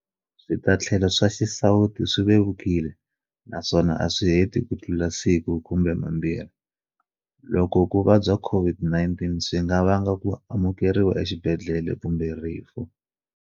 Switatlhelo swa xisawutisi swi vevukile naswona a swi heti kutlula siku kumbe mambirhi, loko ku vabya COVID-19 swi nga vanga ku amukeriwa exibedhlele kumbe rifu.